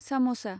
सामसा